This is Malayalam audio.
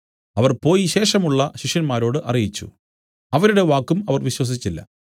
അവർ പോയി ശേഷമുള്ള ശിഷ്യന്മാരോട് അറിയിച്ചു അവരുടെ വാക്കും അവർ വിശ്വസിച്ചില്ല